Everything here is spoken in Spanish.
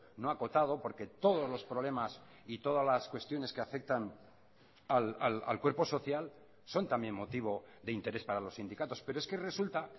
no acotado porque todos los problemas y todas las cuestiones que afectan al cuerpo social son también motivo de interés para los sindicatos pero es que resulta